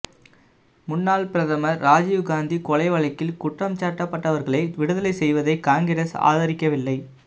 முன்ளாள் பிரதமா் ராஜிவ்காந்தி கொலை வழக்கில் குற்றஞ்சாட்டப்பட்டவர்களை விடுதலை செய்வதை காங்கிரஸ் ஆதரிக்கவில்லை